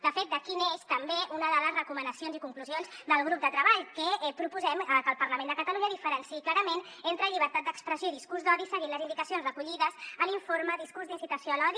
de fet d’aquí neix també una de les recomanacions i conclusions del grup de treball que proposem que el parlament de catalunya diferenciï clarament entre llibertat d’expressió i discurs d’odi seguint les indicacions recollides a l’informe discurs d’incitació a l’odi